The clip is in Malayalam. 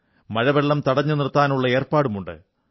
മഴവെള്ളം തടഞ്ഞുനിർത്താനുള്ള ഏർപ്പാടുണ്ട്